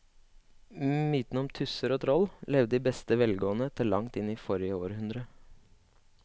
Mytene om tusser og troll levde i beste velgående til langt inn i forrige århundre.